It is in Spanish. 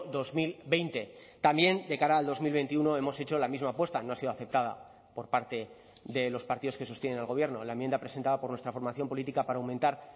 dos mil veinte también de cara al dos mil veintiuno hemos hecho la misma apuesta no ha sido aceptada por parte de los partidos que sostienen al gobierno la enmienda presentada por nuestra formación política para aumentar